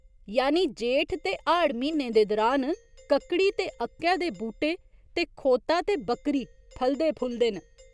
यानि जेठ ते हाड़ म्हीनें दे दुरान कक्कड़ी ते अक्कै दे बूह्टे ते खोता ते बक्करी फलदे फुलदे न।